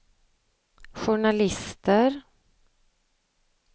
journalister